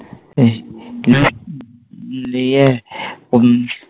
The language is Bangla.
লিয়ে হু উম